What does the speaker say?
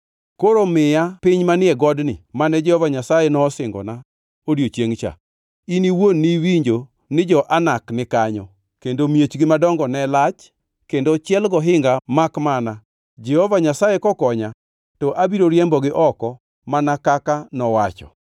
Koro miya piny manie godni mane Jehova Nyasaye nosingona odiechiengʼ cha. In iwuon ni iwinjo ni jo-Anak ni kanyo kendo miechgi madongo ne lach kendo ochiel gohinga makmana Jehova Nyasaye kokonya to abiro riembogi oko mana kaka nowacho.”